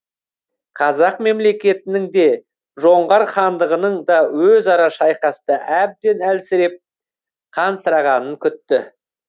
қазақ мемлекетінің де жоңғар хандығының да өзара шайқаста әбден әлсіреп қансырағанын күтті